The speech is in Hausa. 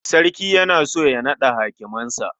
Sarki yana so ya naɗa hakimansa.